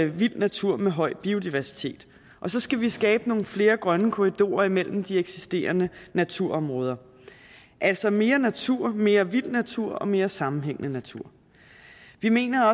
vild natur med høj biodiversitet og så skal vi skabe nogle flere grønne korridorer imellem de eksisterende naturområder altså mere natur mere vild natur og mere sammenhængende natur vi mener